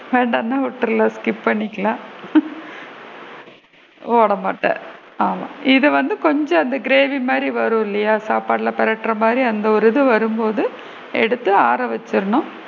வேண்டாம்னா விட்ரலாம் skip பண்ணிக்கலாம் போட மாட்ட ஆமா இது வந்து கொஞ்சம் அந்த கிரேவி மாதிரி வரும் இல்லையா சாப்பாடுலா வர மாதிரி அந்த ஒரு இது வரும் போது எடுத்து ஆற வச்சிடணும்,